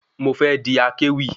Mo fé di akéwì